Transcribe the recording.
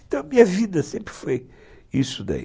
Então, a minha vida sempre foi isso daí.